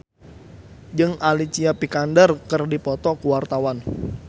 Farri Icksan Wibisana jeung Alicia Vikander keur dipoto ku wartawan